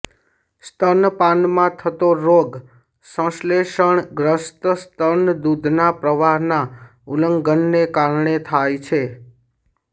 સ્તનપાનમાં થતો રોગ સંશ્લેષણગ્રસ્ત સ્તન દૂધના પ્રવાહના ઉલ્લંઘનને કારણે થાય છે